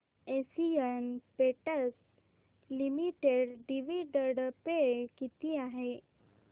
Asian Paints Limited dividend pay किती आहे